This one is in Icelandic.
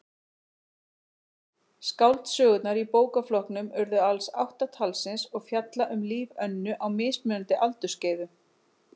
Skáldsögurnar í bókaflokknum urðu alls átta talsins og fjalla um líf Önnu á mismunandi aldursskeiðum.